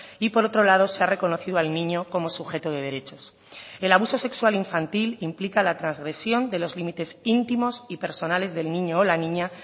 y por otro lado se ha reconocido al niño como sujeto de derechos el abuso sexual infantil implica la transgresión de los límites íntimos y personales del niño o la niña